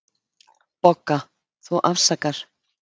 BOGGA: Þú afsakar.